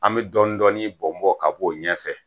An bɛ dɔɔnin-dɔɔnin bɔn-bɔn ka b'o ɲɛfɛ